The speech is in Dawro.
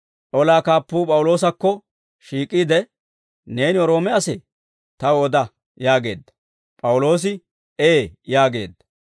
Olaa kaappuu P'awuloosakko shiik'iide, «Neeni Roome asee? Taw oda» yaageedda. P'awuloosi, «Ee» yaageedda.